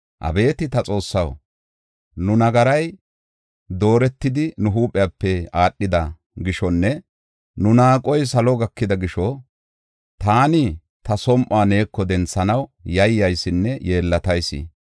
“Abeeti ta Xoossaw, nu nagaray dooretidi nu huuphiyape aadhida gishonne nu naaqoy salo gakida gisho taani ta som7uwa neeko denthanaw yayyaysinne yeellatayis.